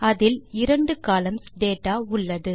அதில் இரண்டு columns data உள்ளது